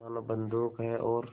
मानो बंदूक है और